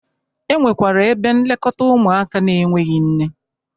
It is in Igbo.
E nwekwara ebe nlekọta ụmụaka n'enweghi nne.